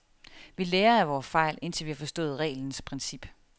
Vi lærer af vore fejl, indtil vi har forstået reglens princip.